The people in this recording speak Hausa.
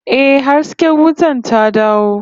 Yes, the light is back